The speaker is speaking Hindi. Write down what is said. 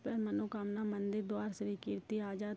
पर मनोकामना मंदिर द्वारा श्री कीर्ति आजाद --